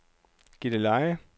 Gilleleje